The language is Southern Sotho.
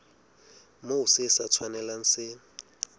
moo se sa tshwanelang se